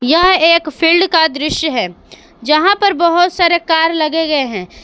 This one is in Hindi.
यह एक फील्ड का दृश्य है जहां पर बहोत सारे कार लगे गए हैं।